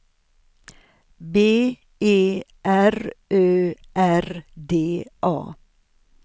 B E R Ö R D A